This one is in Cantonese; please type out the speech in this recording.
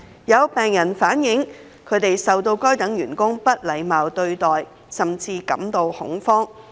有病人反映，他們受到該等員工不禮貌對待，甚至感到恐慌。